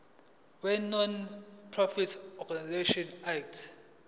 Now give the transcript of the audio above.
wenonprofit organisations act